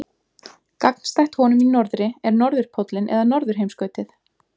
Gagnstætt honum í norðri er norðurpóllinn eða norðurheimskautið.